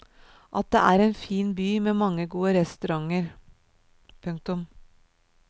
At det er en fin by med mange gode restauranter. punktum